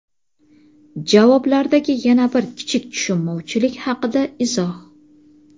Javoblardagi yana bir kichik tushunmovchilik haqida izoh.